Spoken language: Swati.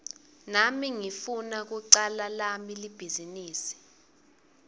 nami ngifuna kucala lami libhizinisi